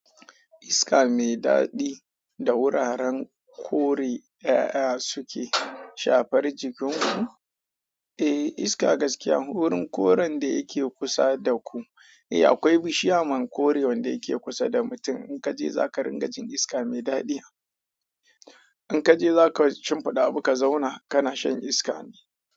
Iska mai daɗi da wuraren kore ƴaƴa suke shafar jikin ku? Eh iska gaskiya wurin koren da yake kusa da ku. Eh akwai bishiya man kore wanda yake kusa da mutum in ka je za ka ringa jin iska mai daɗi. In ka je za ka cim fida abu ka zauna kana shan iska ne.